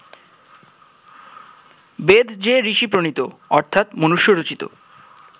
বেদ যে ঋষি-প্রণীত অর্থাৎ মনুষ্য-রচিত